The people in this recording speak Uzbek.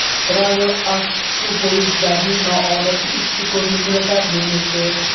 Travel Ask shu poyezdlarning noodatiy ichki ko‘rinishini taqdim etdi.